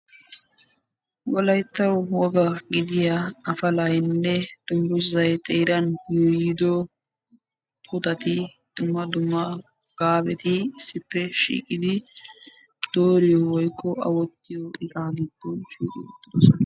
woalytta woga gidiya dunguzay xeerani de"iyyo afalati a wottiyo miisha gidoni de"iyage beetessi.